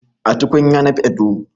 A tukunya na fiɗa tuwo